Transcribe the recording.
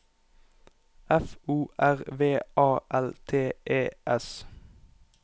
F O R V A L T E S